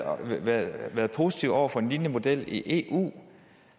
positive over for en lignende model i eu